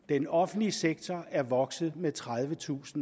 den offentlige sektor er vokset med tredivetusind